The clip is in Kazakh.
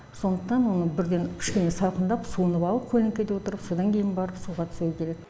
сондықтан оның бірден кішкене салқындап суынып алып көлеңкеде отырып содан кейін барып суға түсу керек